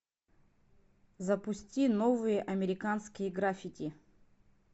запусти новые американские граффити